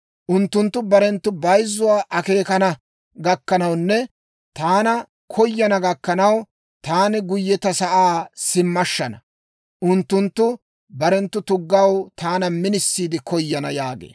Unttunttu barenttu bayzzuwaa akeekana gakkanawunne taana koyana gakkanaw, taani guyye ta sa'aa simmashshana. Unttunttu barenttu tuggaw taana minisiide koyana» yaagee.